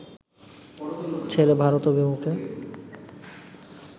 ছেড়ে ভারত অভিমুখে